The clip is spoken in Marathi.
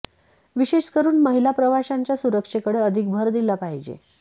विशेष करून महिला प्रवाशांच्या सुरक्षेकडे अधिक भर दिला पाहिजे